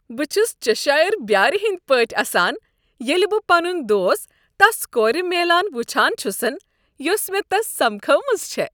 بہٕ چھس چیشایر بیٲرِ ہنٛدِۍ پٲٹھۍ اسان ییٚلہ بہٕ پنٗن دوست تس کورِ میلان وٕچھان چھُسن یۄسہٕ مےٚ تس سمکھٲومژ چھےٚ۔